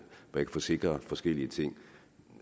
der kan forsikre forskellige ting